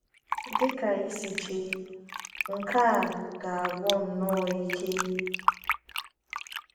Dị ka ịsi iche, nke a ga na - agwụ nnọọ ike.